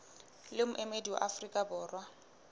le moemedi wa afrika borwa